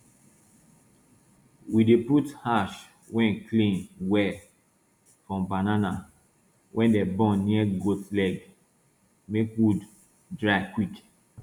we dey put ash wey clean well from banana wey dem burn near goat leg make wound dry quick